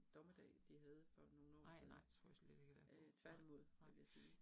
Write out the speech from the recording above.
Nej. Nej nej, tror jeg slet ikke heller ikke på, nej, nej